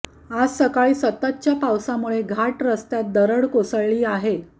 आज सकाळी सततच्या पावसामुळे घाट रस्तात दरड कोसळली आहे